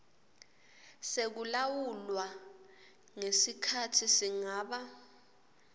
sekulawulwa kwesikhatsi singaba